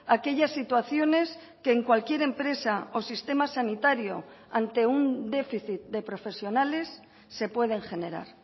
aquellas situaciones que en cualquier empresa o sistema sanitario ante un déficit de profesionales se pueden generar